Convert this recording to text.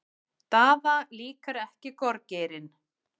Daða líkar ekki gorgeirinn.